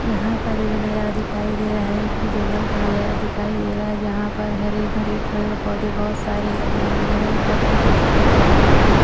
यहां पर ये जो नजारा दिखाई दे रहा है ये किसी जंगल का नजारा दिखाई दे रहा है जहां पर हरे भरे पेड़-पौधे बहुत सारे लगे हुए हैं और छोटी-छोटी झाड़ियां भी--